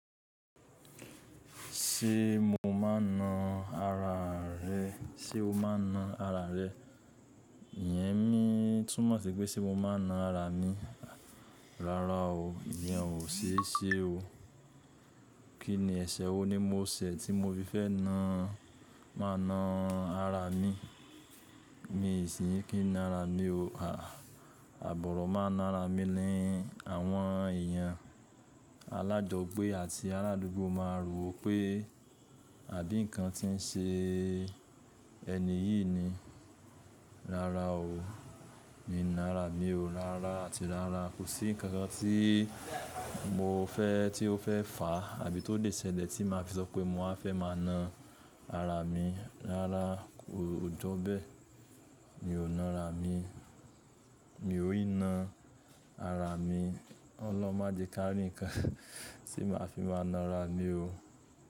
Ṣé mo máa na ara rẹ? Ṣé o máa na ara rẹ? Iyẹn ni, túmọ̀ sí pé ṣe mo máa na ara mi? Rárá o ìyẹn ò sese o. Kí ni ẹ̀ṣẹ̀ wo ni mo ṣẹ̀ tí mo fi fẹ́ ná, máa na ara mi. Mi i sì kí na ara mi o. À àbòro, máa na ra mi ni àwọn èèyàn alájọgbé àti aládùúgbò máa rò ó pé àbí nǹkan tí ń ṣe ẹni yìí ni. Rárá o mi i na ra mi o. Rárá àti rárá. Kò sí ǹkankan tí mo fẹ́ tí ó fẹ́ fà àbí tó lè ṣẹlẹ̀ tí máa fi sope mo wa fẹ́ máa na ara mi rárá, kò jọ́ bẹ́ẹ̀. Mi ò na ra mi. Mi ò yí na ara mi. Ọlọ́run máa jẹ ká rìn ǹkan tí màá fi máa na ra mi o.